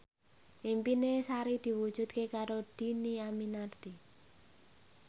impine Sari diwujudke karo Dhini Aminarti